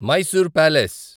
Mysore palace